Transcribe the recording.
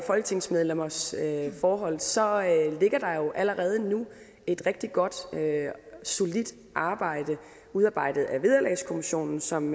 folketingsmedlemmers forhold så ligger der jo allerede nu et rigtig godt og solidt arbejde udarbejdet af vederlagskommissionen som